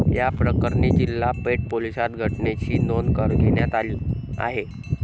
याप्रकरणी जिल्हा पेठ पोलीसात घटनेची नोंद घेण्यात आली आहे.